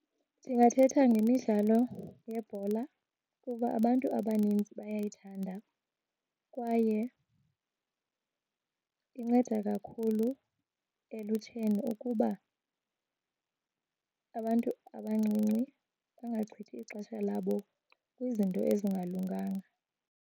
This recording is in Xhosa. Ndingathetha ngemidlalo yebhola kuba abantu abaninzi bayayithanda kwaye inceda kakhulu elutsheni ukuba abantu abancinci bangachithi ixesha labo kwizinto ezingalunganga.